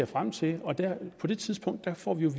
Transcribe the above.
frem til og på det tidspunkt får vi